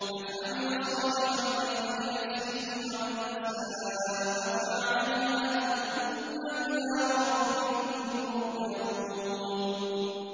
مَنْ عَمِلَ صَالِحًا فَلِنَفْسِهِ ۖ وَمَنْ أَسَاءَ فَعَلَيْهَا ۖ ثُمَّ إِلَىٰ رَبِّكُمْ تُرْجَعُونَ